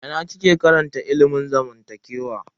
A ina kike karantar ilimin zamantakewa?